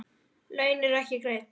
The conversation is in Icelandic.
Laun eru ekki greidd.